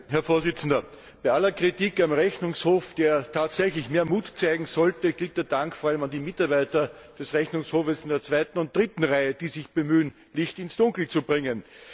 Herr Präsident! Bei aller Kritik am Rechnungshof, der tatsächlich mehr Mut zeigen sollte, geht der Dank vor allem an die Mitarbeiter des Rechnungshofs vor allem in der zweiten und dritten Reihe, die sich bemühen, Licht ins Dunkel zu bringen!